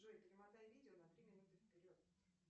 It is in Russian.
джой перемотай видео на три минуты вперед